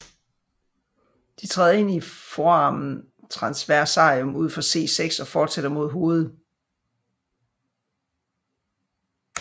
De træder ind i foramen transversarium ud for C6 og fortsætter mod hovedet